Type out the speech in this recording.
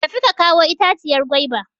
Tafi ka kawo itaciyar gwaiba!